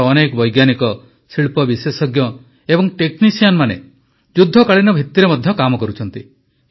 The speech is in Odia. ଆମର ଅନେକ ବୈଜ୍ଞାନିକ ଶିଳ୍ପ ବିଶେଷଜ୍ଞ ଏବଂ ଟେକ୍ନିସିଆନ୍ମାନେ ମଧ୍ୟ ଯୁଦ୍ଧକାଳୀନ ଭିତିରେ କାମ କରୁଛନ୍ତି